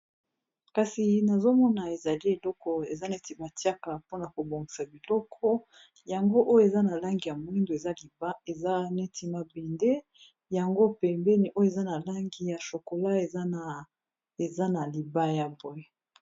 Kasi nazomona ezali eloko eza neti batiaka mpona kobongisa biloko, yango oyo eza na langi ya moindo, eza neti mabende yango pembeni eza na langi ya chokola, eza na libaya.